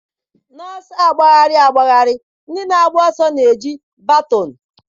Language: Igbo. N'ọsọ agbagharị agbagharị, ndị na-agba ọsọ na-eji baton.